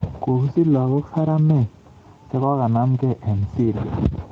Kokisich lagook Saramek chekomamgei eng Syria